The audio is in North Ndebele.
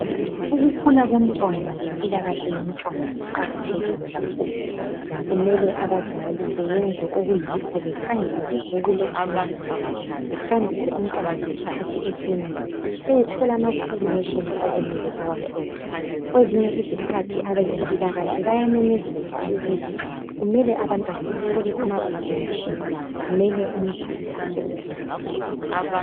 ukukhula komntwana lempilakahle yomntwana kuqakathekile kakhulu kumele abazali beyenze okuyikho bekhangele ibhuku lekilinika behambise umntwana ayethola amavaccination okumele ewathole. Kwezinye izikhathi abezempilakahle bayamemezela ukuthi kumele abantwana bathole ama vaccination kumele umzali asukumele phezulu.